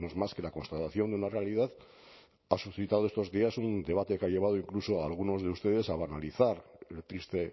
más que la constatación de una realidad ha suscitado estos días un debate que ha llevado incluso a algunos de ustedes a analizar el triste